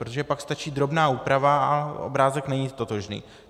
Protože pak stačí drobná úprava a obrázek není totožný.